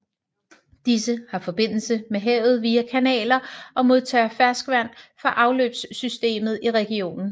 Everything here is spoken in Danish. Disse har forbindelse med havet via kanaler og modtager ferskvand fra afløbssystemet i regionen